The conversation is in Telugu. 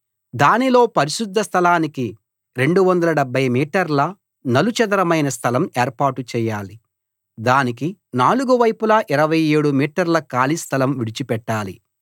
దానిలో పరిశుద్ధ స్థలానికి 270 మీటర్ల నలుచదరమైన స్థలం ఏర్పాటు చేయాలి దానికి నాలుగు వైపులా 27 మీటర్ల ఖాళీ స్థలం విడిచిపెట్టాలి